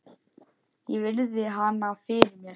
Ég virði hana fyrir mér.